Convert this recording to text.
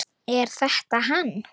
Er þetta hann?